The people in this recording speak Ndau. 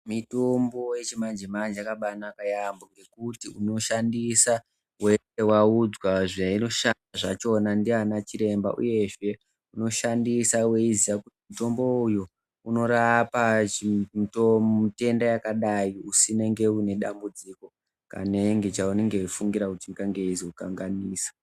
Mitombo yechimanje manje yakabaanaka yaambho ngekuti unoshandisa waudzwa zveinoshanda zvachona ndiana Chiremba uyezve, unoshandisa weiziya kuti mutombo uyu unorapa chitenda yakadai usina nedambudziko kana chaunenge weifungira kuti ingange yeizokanganisa.